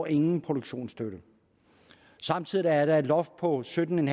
ingen produktionsstøtte samtidig er der et loft på sytten